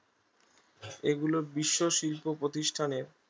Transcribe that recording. এগুলো বিশ্ব শিল্প প্রতিষ্ঠানে